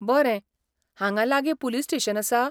बरें, हांगां लागीं पुलीस स्टेशन आसा?